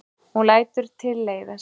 Hún lætur tilleiðast.